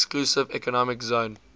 exclusive economic zone